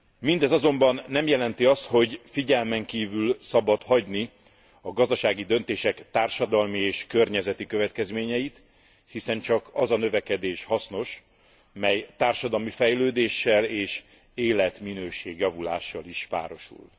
Mindez azonban nem jelenti azt, hogy figyelmen kívül szabad hagyni a gazdasági döntések társadalmi és környezeti következményeit, hiszen csak az a növekedés hasznos, mely társadalmi fejlődéssel és életminőség javulással is párosul.